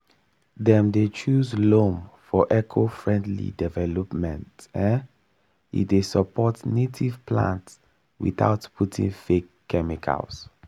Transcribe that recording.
agricultural ex ten sion dey always recommend loamy soil for home garden because e get better balance of texture and nutrition.